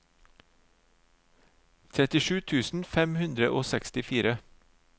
trettisju tusen fem hundre og sekstifire